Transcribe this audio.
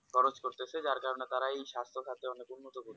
খরচ করতেছে যার কারণে তারা এই সাস্থসাতে অনেক উন্নত করবে